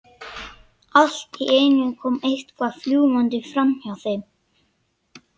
Allt í einu kom eitthvað fljúgandi framhjá þeim.